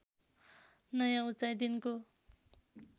नयाँ उचाइ दिनको